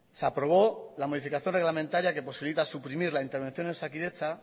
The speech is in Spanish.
se aprobó la modificación reglamentaria que posibilita suprimir la intervención de osakidetza